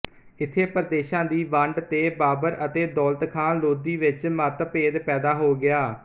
ਇੱਥੇ ਪ੍ਰਦੇਸ਼ਾਂ ਦੀ ਵੰਡ ਤੇ ਬਾਬਰ ਅਤੇ ਦੌਲਤ ਖਾਂ ਲੋਧੀ ਵਿੱਚ ਮਤਭੇਦ ਪੈਦਾ ਹੋ ਗਿਆ